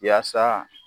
Yaasa